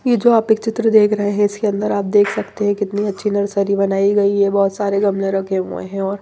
ये जो आप एक चित्र देख रहे हैं इसके अंदर आप देख सकते हैं कितनी अच्छी नर्सरी बनाई गई है बहुत सारे गमले रखे हुए हैं और